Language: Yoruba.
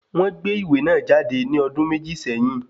Wọ́n gbé ìwé náà jáde ní ọdún méjì sẹ́yìn